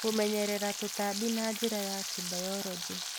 Kũmenyerera tũtambi na njira ya kĩbayoronjĩ